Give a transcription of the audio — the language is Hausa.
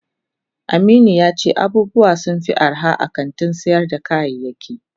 Aminu yace abubuwa sunfi arha a kantin sayar da kayayaki.